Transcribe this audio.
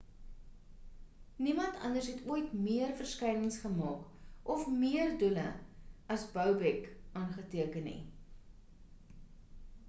niemand anders het ooit meer verskynings gemaak of meer doele as bobek aangeteken nie